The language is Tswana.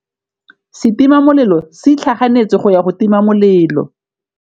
Setima molelô se itlhaganêtse go ya go tima molelô.